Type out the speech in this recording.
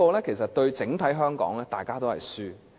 這對整體香港而言，大家也是輸家。